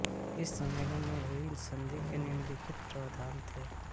इस सम्मेलन में हुई सन्धि के निम्नलिखित प्रावधान थे